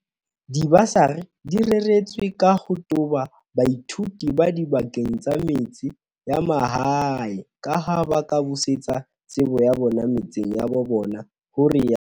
"Dibasari di reretswe ka ho toba baithuti ba dibakeng tsa metse ya mahae kaha ba ka busetsa tsebo ya bona metseng ya bo bona," ho rialo